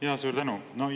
Jaa, suur tänu!